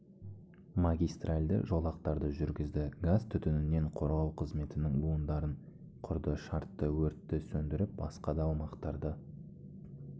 магистральды жолақтарды жүргізді газ түтінінен қорғау қызметінің буындарын құрды шартты өртті сөндіріп басқа да аумақтарды